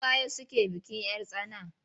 Su waye suke bikin 'yar tsana?